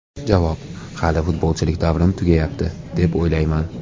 Javob: Hali futbolchilik davrim tugayapti, deb o‘ylamayman.